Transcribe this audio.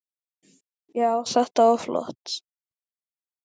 Já, þetta var flott.